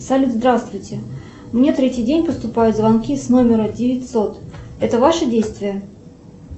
салют здравствуйте мне третий день поступают звонки с номера девятьсот это ваши действия